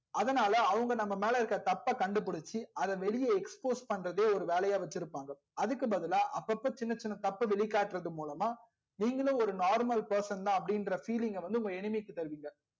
அதுனால அவங்க நம்ப மேல இருக்க தப்ப கண்டுபுடிச்சி அதா வெளியில expose பண்றதே வேலையா வச்சிருபாங்க அதுக்கு பதிலா அப்போ போ சின்ன சின்ன தப்ப வெளிக்காற்றது மூலமா நீங்களும் ஒரு normal person தா அப்டி இன்ற feeling ங்க உங்க enemy க்கு தருவிங்க